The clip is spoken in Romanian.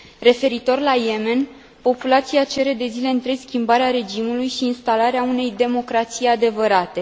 Referitor la Yemen, populația cere, de zile întregi, schimbarea regimului și instalarea unei democrații adevărate.